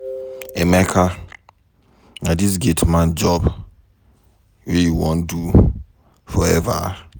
Emeka na dis gate man job wey you wan do forever?